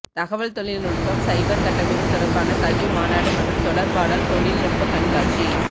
தகவல் தொழில்நுட்பம் சைபர் கட்டமைப்பு தொடர்பான கல்வி மாநாடு மற்றும் தொடர்பாடல் தொழில்நுட்ப கண்காட்சி